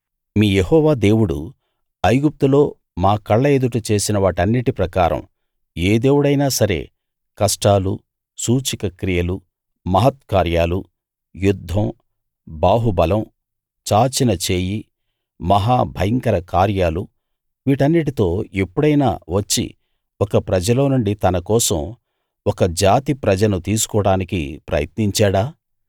మీ యెహోవా దేవుడు ఐగుప్తులో మా కళ్ళ ఎదుట చేసిన వాటన్నిటి ప్రకారం ఏ దేవుడైనా సరే కష్టాలు సూచక క్రియలు మహత్కార్యాలు యుద్ధం బాహుబలం చాచిన చేయి మహా భయంకర కార్యాలు వీటన్నిటితో ఎప్పుడైనా వచ్చి ఒక ప్రజలోనుండి తనకోసం ఒక జాతి ప్రజని తీసుకోడానికి ప్రయత్నించాడా